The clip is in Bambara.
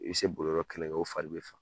I bɛ se boli yɔrɔ kɛlɛkan o fali bɛ son.